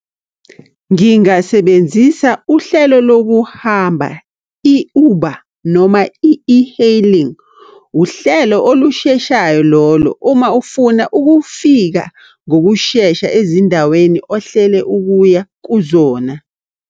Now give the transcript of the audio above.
Ngingasebenzisa uhlelo lokuhamba i-Uber noma i-e-hailing. Uhlelo olusheshayo lolo uma ufuna ukufika ngokushesha ezindaweni ohlele ukuya kuzona.